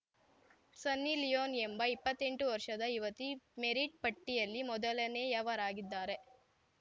ಸನ್ನಿ Leone ಎಂಬ ಇಪ್ಪತೆಂಟು ವರ್ಷದ ಯುವತಿ ಮೆರಿಟ್‌ ಪಟ್ಟಿಯಲ್ಲಿ ಮೊದಲನೆಯವರಾಗಿದ್ದಾರೆ